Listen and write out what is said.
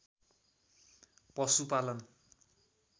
पशुपालन